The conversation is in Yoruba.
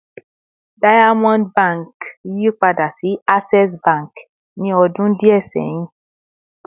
Diamond Bank yipada si Access Bank ni ọdun diẹ sẹhin